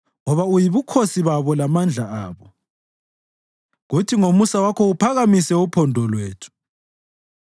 Ngoba uyibukhosi babo lamandla abo, kuthi ngomusa wakho uphakamise uphondo lwethu.